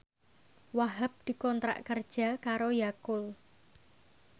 Wahhab dikontrak kerja karo Yakult